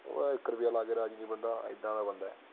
ਉਹ ਇੱਕ ਰੁਪਿਆ ਲਾ ਕੇ ਨੀ ਰਾਜੀ ਬੰਦਾ ਐਦਾ ਦਾਂ ਬੰਦਾ